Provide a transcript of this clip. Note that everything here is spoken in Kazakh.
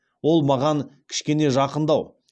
ол маған кішкене жақындау